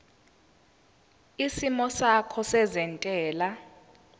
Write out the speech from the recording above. isimo sakho sezentela